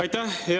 Aitäh!